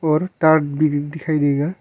और तार भी दिखाई देगा।